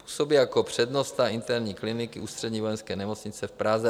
Působí jako přednosta interní kliniky Ústřední vojenské nemocnice v Praze.